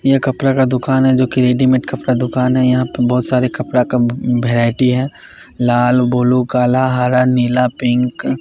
यह कपड़ा का दुकान है जो कि रेडीमेड कपड़ा दुकान है यहां पर बहुत सारे कपड़ा का वैरायटी है लाल ब्लू काला हरा नीला पिंक ।